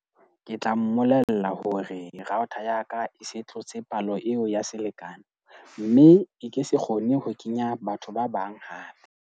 Ke tla mmolella hore router ya ka e se tlotse palo eo ya selekane mme e ke se kgone ho kenya batho ba bang haba .